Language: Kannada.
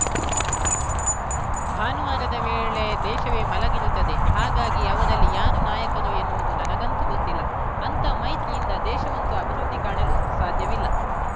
ಭಾನುವಾರದ ವೇಳೆ ದೇಶವೇ ಮಲಗಿರುತ್ತದೆ ಹಾಗಾಗಿ ಅವರಲ್ಲಿ ಯಾರು ನಾಯಕರು ಎನ್ನುವುದು ನನಗಂತೂ ಗೊತ್ತಿಲ್ಲ ಅಂಥ ಮೈತ್ರಿಯಿಂದ ದೇಶವಂತೂ ಅಭಿವೃದ್ಧಿ ಕಾಣಲು ಸಾಧ್ಯವಿಲ್ಲ